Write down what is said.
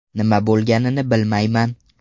Nima bo‘lganini bilmayman.